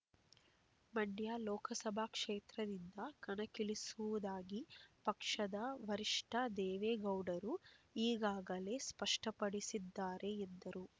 ಮಂಡ್ಯ ಲೋಕಸಭಾ ಕ್ಷೇತ್ರದಿಂದ ಕಣಕ್ಕಿಳಿಸುವುದಾಗಿ ಪಕ್ಷದ ವರಿಷ್ಠ ದೇವೇಗೌಡರು ಈಗಾಗಲೇ ಸ್ಪಷ್ಟಪಡಿಸಿದ್ದಾರೆ ಎಂದರು